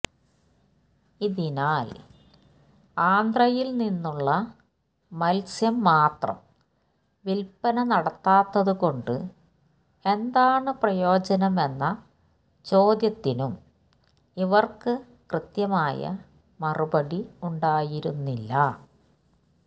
ഇതിനാൽ ആന്ധ്രയിൽ നിന്നുള്ള മത്സ്യം മാത്രം വിൽപ്പന നടത്താത്തുകൊണ്ട് എന്താണ് പ്രയോജനമെന്ന ചോദ്യത്തിനും ഇവർക്ക് കൃത്യമായ മറുപടി ഉണ്ടായിരുന്നില്ല